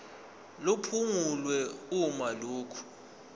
liphungulwe uma lokhu